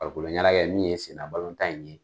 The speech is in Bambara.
Farikolo ɲɛnajɛ n'o ye snna balon tan in ye.